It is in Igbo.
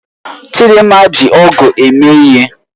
Chidinma ji ọ̀gu eme ihe.